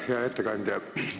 Hea ettekandja!